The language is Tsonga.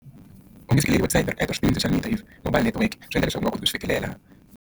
U nge website Swi endla leswaku u nga koti ku swi fikelela.